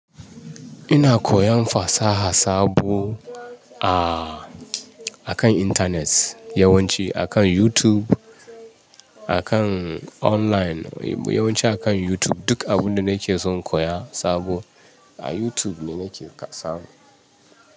Ina koyan fasaha sabo a, akan internet yawanci akan YouTube, akan online yawanci akan YouTube. Duk abun da nake son koya sabo a YouTube ne nake samu.